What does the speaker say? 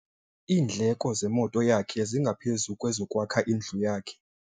Iindleko zemoto yakhe zingaphezu kwezokwakha indlu yakhe.